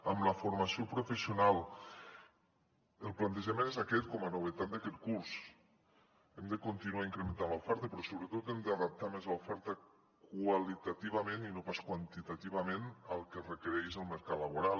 amb la formació professional el plantejament és aquest com a novetat d’aquest curs hem de continuar incrementant l’oferta però sobretot hem d’adaptar més l’oferta qualitativament i no pas quantitativament al que requereix el mercat laboral